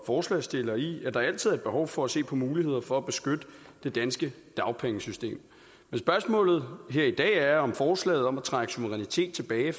forslagsstillerne i at der altid er behov for at se på muligheder for at beskytte det danske dagpengesystem men spørgsmålet her i dag er om forslaget om at trække suverænitet tilbage